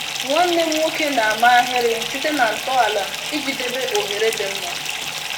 Nwanne m nwoke na-ama ahịrị site na ntọala iji debe oghere dị mma.